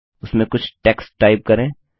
उसमें कुछ text type करें